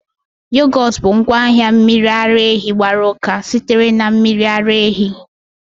Yogot bụ ngwaahịa mmiri ara ehi gbara uka sitere na mmiri ara ehi